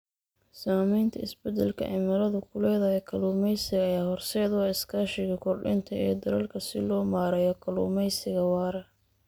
Saamaynta isbeddelka cimiladu ku leedahay kalluumaysiga ayaa horseed u ah iskaashiga kordhinta ee dalalka si loo maareeyo kalluumeysiga waara.